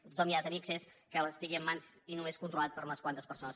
que tothom hi ha de tenir accés que estigui en mans i només controlat per unes quantes persones